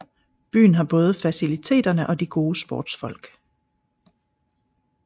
Byen har både faciliteterne og de gode sportsfolk